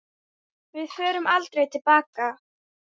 Við förum aldrei til baka.